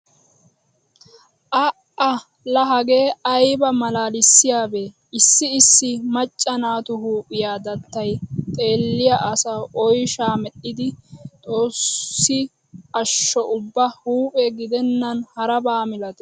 A"a la hagee ayba malaalissiyabee! Issi issi macca naatu huuphiya dattay xeelliya asawu oyshaa medhdhidi xoossi ashsho ubba huuphe gidennan haraba milatees.